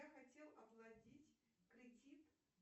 я хотел оплатить кредит